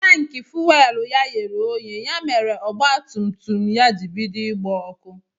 Tanki fuwelu ya ghere oghe ya mere mèrè ọgba tum tum ya jị bido ịgba ọkụ.